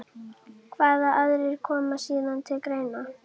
Hvaða aðrir koma síðan til greina?